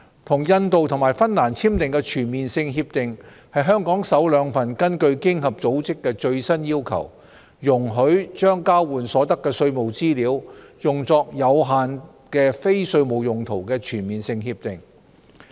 與印度及芬蘭簽訂的全面性協定是香港首兩份根據經合組織最新要求，容許將交換所得的稅務資料用作有限的非稅務用途的全面性協定。